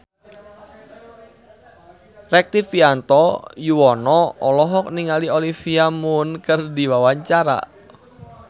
Rektivianto Yoewono olohok ningali Olivia Munn keur diwawancara